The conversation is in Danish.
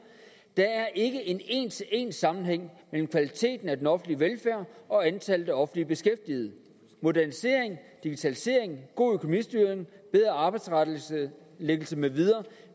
der er ikke en en til en sammenhæng mellem kvaliteten af den offentlige velfærd og antallet af offentligt beskæftigede modernisering digitalisering god økonomistyring bedre arbejdstilrettelæggelse med videre